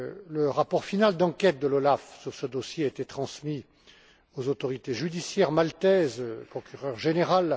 Le rapport final d'enquête de l'OLAF, sur ce dossier, a été transmis aux autorités judiciaires maltaises, au procureur général.